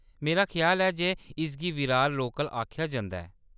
मेरा ख्याल ऐ जे इसगी विरार लोकल आखेआ जंदा ऐ।